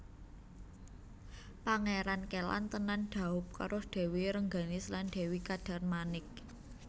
Pangéran Kélan tenan dhaup karo Dèwi Rengganis lan Dèwi Kadarmanik